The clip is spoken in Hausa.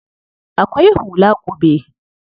Akwai hula ƙube.